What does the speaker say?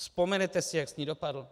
Vzpomenete si, jak s ní dopadl?